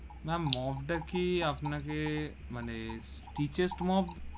Ma'am mop তা কি আপনাকে, মানে steel এর mop?